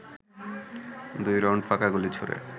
দুই রাউন্ড ফাঁকা গুলি ছোড়ে